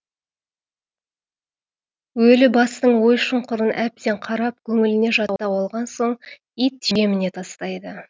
өлі бастың ой шұңқырын әбден қарап көңіліне жаттап алған соң ит жеміне тастайды